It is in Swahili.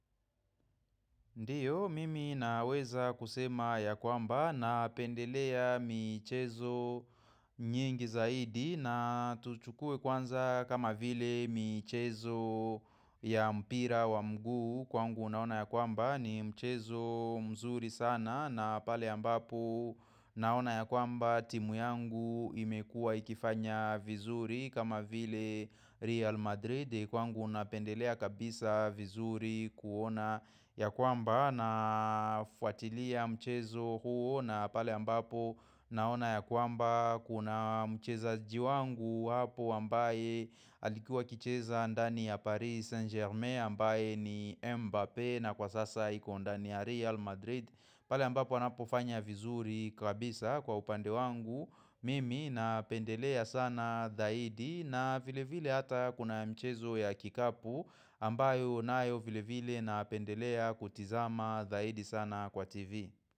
Ndiyo, mimi naweza kusema ya kwamba na pendelea michezo nyingi zaidi na tuchukue kwanza kama vile michezo ya mpira wa mguu kwangu naona ya kwamba ni michezo mzuri sana na pale ambapo naona ya kwamba timu yangu imekua ikifanya vizuri kama vile Real Madrid Kwangu napendelea kabisa vizuri kuona ya kwamba na fuatilia mchezo huo na pale ambapo naona ya kwamba kuna mchezaji wangu hapo ambaye alikuwa kicheza andani ya Paris Saint Germain ambaye ni Mbappé na kwa sasa iko ndani ya Real Madrid. Pale ambapo wanapofanya vizuri kabisa kwa upande wangu mimi napendelea sana dhaidi na vile vile hata kuna mchezo ya kikapu ambayo nayo vile vile na pendelea kutizama dhaidi sana kwa TV.